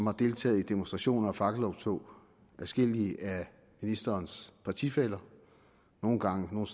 har deltaget i demonstrationer og fakkeloptog adskillige af ministerens partifæller nogle gange og